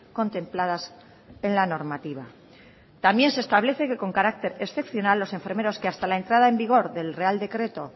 contempladas en la normativa también se establece que con carácter excepcional los enfermeros que hasta la entrada en vigor del real decreto